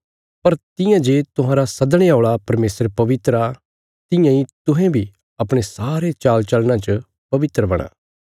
पर तियां जे तुहांरा सदणे औल़ा परमेशर पवित्र आ तियां इ तुहें बी अपणे सारे चालचलना च पवित्र बणा